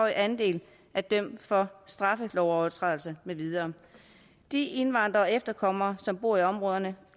andel er dømt for straffelovsovertrædelser med videre de indvandrere og efterkommere af som bor i områderne